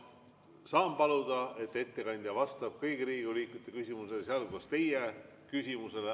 Ma saan paluda, et ettekandja vastab kõigi Riigikogu liikmete küsimustele, sealhulgas teie küsimusele.